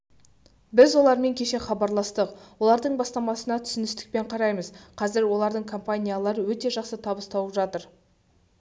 біз олармен кеше хабарластық олардың бастамасына түсіністікпен қараймыз қазір олардың компаниялары өте жақсы табыс тауып жатыр